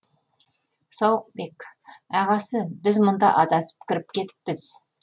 сауықбек ағасы біз мұнда адасып кіріп кетіппіз